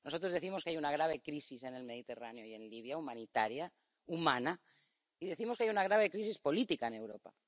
Nosotros decimos que hay una grave crisis en el Mediterráneo y en Libia, humanitaria, humana, y decimos que hay una grave crisis política en Europa.